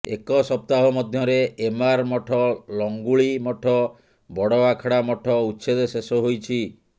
ଏକ ସପ୍ତାହ ମଧ୍ୟରେ ଏମାର ମଠ ଲଙ୍ଗୁଳି ମଠ ବଡ ଆଖଡ଼ା ମଠ ଉଚ୍ଛେଦ ଶେଷ ହୋଇଛି